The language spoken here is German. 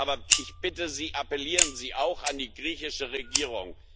Aber ich bitte Sie Appellieren Sie auch an die griechische Regierung!